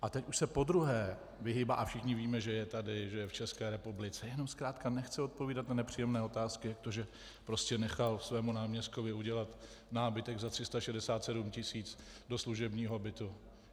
A teď už se po druhé vyhýbá - a všichni víme, že je tady, že je v České republice, jenom zkrátka nechce odpovídat na nepříjemné otázky, jak to, že prostě nechal svému náměstkovi udělat nábytek za 367 tisíc do služebního bytu.